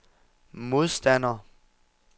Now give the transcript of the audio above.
modstander